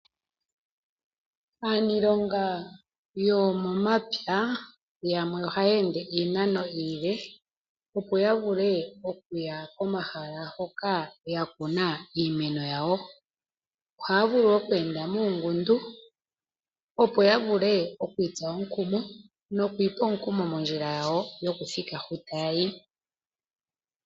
Aaniilonga yomomapya oyendji ohaya ende iinano iile opo yavule okuya komahala hoka yakuna iimeno yawo. Ohaavulu okweenda muungundu opo yavule okwiitsa omukumo nokwiipa omukumo mondjila yawo yokuthika hu taya ti.